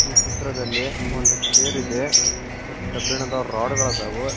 ಈ ಚಿತ್ರದಲ್ಲಿ ಒಂದು ಚೇರ್ ಇದೆ ಮತ್ ಕಬ್ಬಿಣದ ರಾಡ್ ಗಳಾದವು.